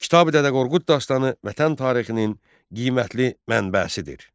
Kitabi-Dədə Qorqud dastanı vətən tarixinin qiymətli mənbəsidir.